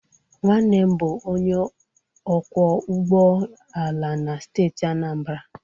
Nwannem bu onye ọkwọ ụgbọ ala na steeti Anambra.